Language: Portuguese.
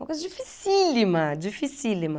Uma coisa dificílima, dificílima.